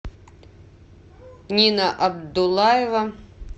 нина абдуллаева